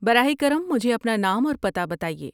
براہ کرم مجھے اپنا نام اور پتہ بتائیے۔